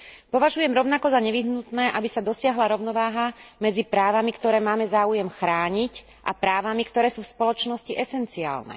Považujem rovnako za nevyhnutné, aby sa dosiahla rovnováha medzi právami, ktoré máme záujem chrániť a právami, ktoré sú v spoločnosti esenciálne.